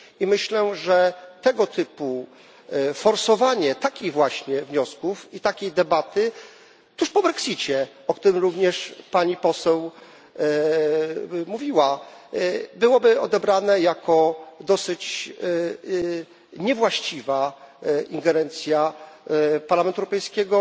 Myślę, że tego typu forsowanie takich właśnie wniosków i takiej debaty tuż po Brexicie, o którym również pani posłanka mówiła, byłoby odebrane jako dosyć niewłaściwa ingerencja Parlamentu Europejskiego.